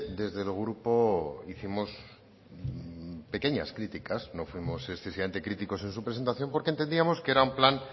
desde el grupo hicimos pequeñas críticas no fuimos excesivamente críticos en su presentación porque entendíamos que era un plan